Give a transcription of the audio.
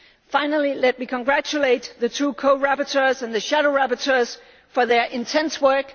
Finally, let me congratulate the two co rapporteurs and the shadow rapporteurs for their intense